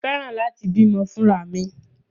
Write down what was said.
Mo fẹ́ràn láti bímọ fúnra mi.